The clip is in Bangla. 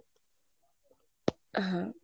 আহ হ্যাঁ।